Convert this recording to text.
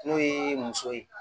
N'o ye muso ye